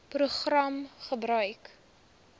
program gebruik